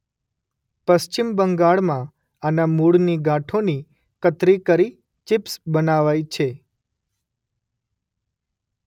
પશ્ચિમ બંગાળમાં આના મૂળની ગાંઠોની કતરી કરી ચીપ્સ બનાવાય છે.